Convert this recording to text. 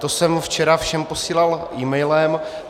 To jsem včera všem posílal emailem.